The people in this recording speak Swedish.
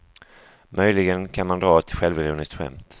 Möjligen kan man dra ett självironiskt skämt.